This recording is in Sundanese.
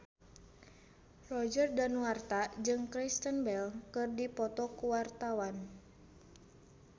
Roger Danuarta jeung Kristen Bell keur dipoto ku wartawan